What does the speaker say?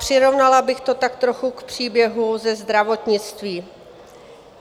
Přirovnala bych to tak trochu k příběhu ze zdravotnictví.